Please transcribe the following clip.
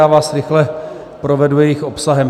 Já vás rychle provedu jejich obsahem.